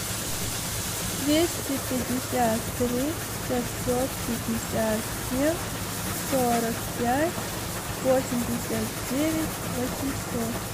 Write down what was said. двести пятьдесят три пятьсот пятьдесят семь сорок пять восемьдесят девять восемьсот